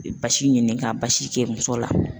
I be basi ɲini ka basi kɛ muso la